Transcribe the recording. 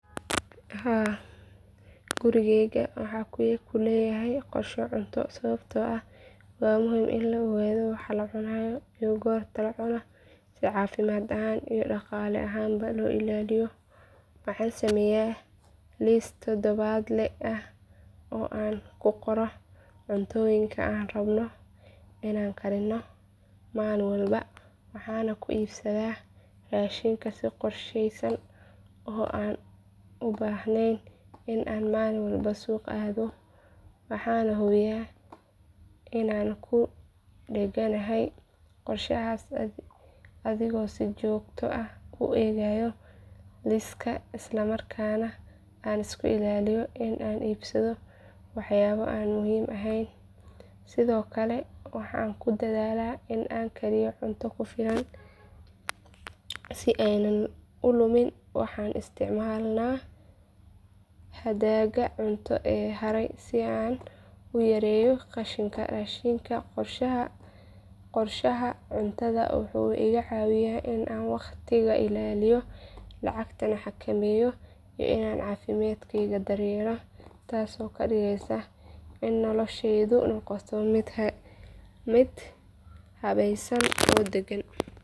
Haa gurigeyga waxaan ku leeyahay qorshe cunto sababtoo ah waa muhiim in la ogaado waxa la cuno iyo goorta la cuno si caafimaad ahaan iyo dhaqaale ahaanba loo ilaaliyo waxaan sameeyaa liis toddobaadle ah oo aan ku qorayo cunnooyinka aan rabno inaan karino maalin walba waxaana ku iibsadaa raashiinka si qorsheysan oo aan u baahneyn in aan maalin walba suuqa aado waxaan hubiyaa inaan ku dhegganahay qorshahaas adigoo si joogto ah u eegaya liiska isla markaana aan iska ilaaliyo in aan iibsado waxyaabo aan muhiim ahayn sidoo kale waxaan ku dadaalaa in aan kariyo cunto ku filan si aanay u lumin waxaan isticmaalnaa hadhaaga cunto ee haray si aan u yareeyo qashinka raashinka qorshaha cuntada wuxuu iga caawiyaa inaan waqtiga ilaaliyo lacagta xakameeyo iyo inaan caafimaadkayga daryeelo taasoo ka dhigaysa in noloshaydu noqoto mid habaysan oo degan.